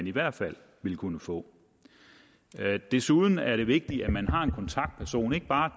i hvert fald ville kunne få desuden er det vigtigt at man har en kontaktperson ikke bare